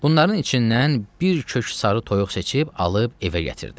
Bunların içindən bir kök sarı toyuq seçib, alıb evə gətirdi.